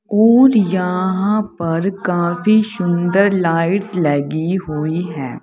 और यहां पर काफी सुंदर लाइट्स लगी हुई हैं।